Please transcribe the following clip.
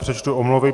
Přečtu omluvy.